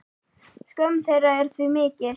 Skömm þeirra er því mikil.